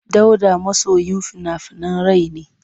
Dauda masoyin fina-finan rai ne.